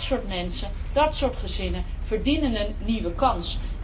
Dat soort mensen, dat soort gezinnen verdienen een nieuwe kans.